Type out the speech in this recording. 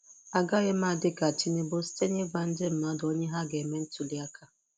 Agaghị m adị ka Tinubu site n'ịgwa ndị mmadụ onye ha ga-eme ntuli aka.